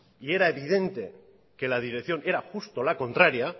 y era evidente que la dirección era justo la contraria